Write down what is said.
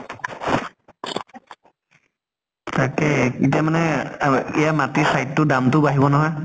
তাকে এতিয়া মানে আৱে এয়া মাটিৰ site টোৰ দাম টো বাঢ়িব নহয়।